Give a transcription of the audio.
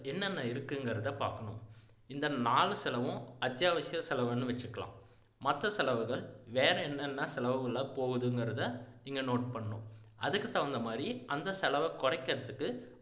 என்னென்ன இருக்குங்கிறதை பாக்கணும் இந்த நாலு செலவும் அத்தியாவசிய செலவுன்னு வச்சுக்கலாம் மற்ற செலவுகள் வேற என்னென்ன செலவுகளா போகுதுங்கிறதை இங்க note பண்ணணும் அதுக்கு தகுந்த மாதிரி அந்த செலவை குறைக்கிறதுக்கு